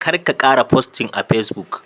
Karka kara posting a Facebook